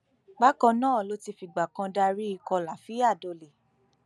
bákan náà ló ti fìgbà kan darí ikọ lafiya dole